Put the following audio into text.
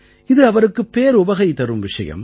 இது அவருக்கு பேருவகை தரும் விஷயம்